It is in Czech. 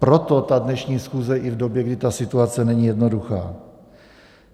Proto ta dnešní schůze i v době, kdy ta situace není jednoduchá.